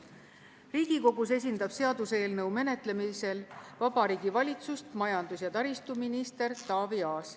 Riigikogus seaduseelnõu menetlemisel esindab Vabariigi Valitsust majandus- ja taristuminister Taavi Aas.